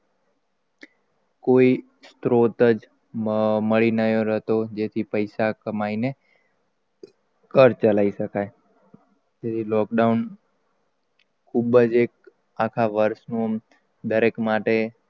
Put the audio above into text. કોઈ સ્રોત જ મળી ન રહ્યો હતો જેનાથી પૈસા કમાઈને ઘર ચલાઈ શકાય તે થી lockdown ખૂબજ, એક આખા વર્ષ નું દરેક માટે,